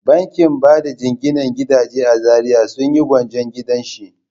Bankin bada jinginan gidaje a Zariya sun yi gwanjon gidan shi.